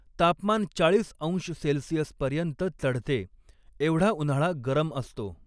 तापमान चाळीस अंश सेल्सिअसपर्यंत चढते, एवढा उन्हाळा गरम असतो.